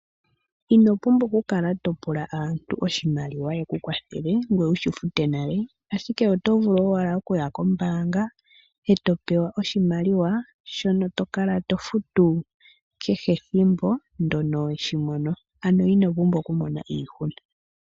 Ino pumbwa okukala topula aantu yekukwathele oshimaliwa, ngoye wudhi fute nale. Ashike oto vulu okuya owala kombaanga, e to pewa oshimaliwa, shono tokala tofutu, ethimbo kehe ndono weshimono. Ano ino pumbwa okumona iihuna